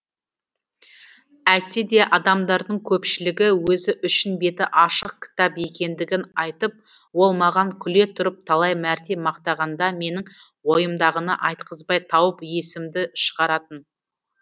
әйтсе де адамдардың көпшілігі өзі үшін беті ашық кітап екендігін айтып ол маған күле тұрып талай мәрте мақтанғанда менің ойымдағыны айтқызбай тауып есімді шығаратын